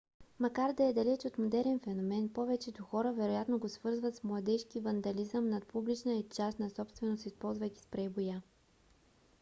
макар да е далеч от модерен феномен повечето хора вероятно го свързват с младежки вандализъм над публична и частна собственост използвайки спрей боя